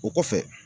O kɔfɛ